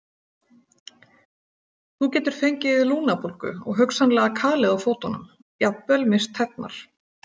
Þú getur fengið lungnabólgu og hugsanlega kalið á fótunum, jafnvel misst tærnar.